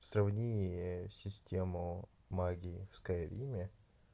сравнени систему магии в скайриме